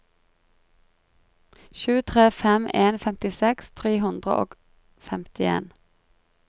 sju tre fem en femtiseks tre hundre og femtien